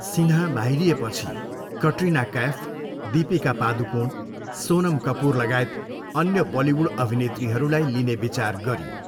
सिन्हा बाहिरिएपछि, कट्रिना कैफ, दीपिका पादुकोण, सोनम कपुरलगायत अन्य बलिउड अभिनेत्रीहरूलाई लिने विचार गरियो।